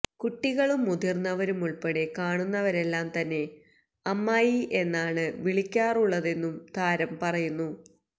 കുട്ടികളും മുതിര്ന്നവരുമുള്പ്പടെ കാണുന്നവരെല്ലാം തന്നെ അമ്മായി എന്നാണ് വിളിക്കാറുള്ളതെന്നും താരം പറയുന്നു